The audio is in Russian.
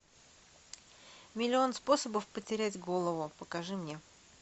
миллион способов потерять голову покажи мне